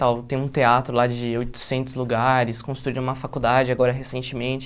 Tal tem um teatro lá de oitocentos lugares, construíram uma faculdade agora recentemente.